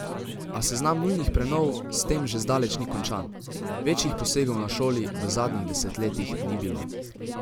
A seznam nujnih prenov s tem še zdaleč ni končan: "Večjih posegov na šoli v zadnjih desetletjih ni bilo.